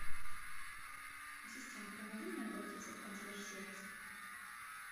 ассистент помоги мне обратиться в консьерж сервис